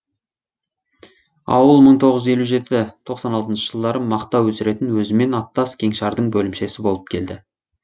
ауыл мың тоғыз елу жеті тоқсан алтыншы жылдары мақта өсіретін өзімен аттас кеңшардың бөлімшесі болып келді